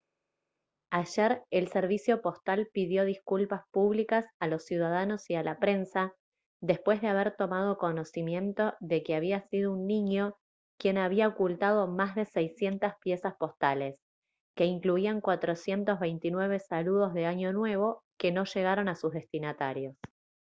ayer el servicio postal pidió disculpas públicas a los ciudadanos y a la prensa después de haber tomado conocimiento de que había sido un niño quien había ocultado más de 600 piezas postales que incluían 429 saludos de año nuevo que no llegaron a sus destinatarios